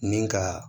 Ni ka